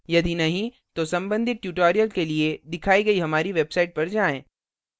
यदि नहीं तो संबंधित tutorials के लिए दिखाई गई हमारी website पर जाएँ